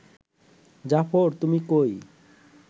জাফর তুমি কই